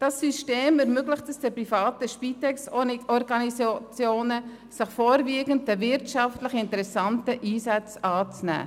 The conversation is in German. Dieses System ermöglicht es den privaten Spitex-Organisationen, sich vorwiegend den wirtschaftlich interessanten Einsätzen anzunehmen.